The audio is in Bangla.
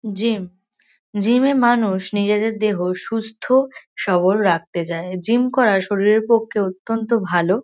জিম জিম -এ মানুষ নিজেদের দেহ সুস্থ সবল রাখতে যায়। জিম করা শরীরের পক্ষে অত্যন্ত ভালো।